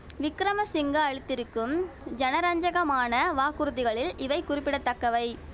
விக்கிரமசிங்க அளித்திருக்கும் ஜனரஞ்சகமான வாக்குறுதிகளில் இவை குறிப்பிட தக்கவை